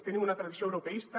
tenim una tradició europeista